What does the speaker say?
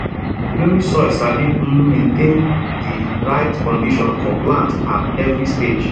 loamy soil sabi um maintain di right condition for plants at every stage